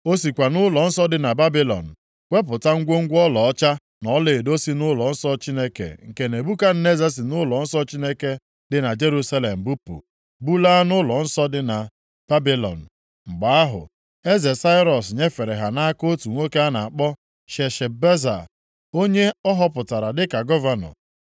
O sikwa nʼụlọnsọ dị na Babilọn wepụta ngwongwo ọlaọcha na ọlaedo si nʼụlọnsọ Chineke nke Nebukadneza si nʼụlọnsọ Chineke dị na Jerusalem bupụ bulaa nʼụlọnsọ dị na Babilọn. Mgbe ahụ eze Sairọs nyefere ha nʼaka otu nwoke a na-akpọ Sheshbaza, onye ọ họpụtara dịka gọvanọ.